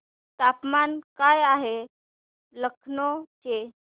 तापमान काय आहे लखनौ चे